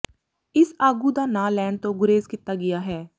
ਇਸ ਆਗੂ ਦਾ ਨਾਂ ਲੈਣ ਤੋਂ ਗੁਰੇਜ਼ ਕੀਤਾ ਗਿਆ ਹੈ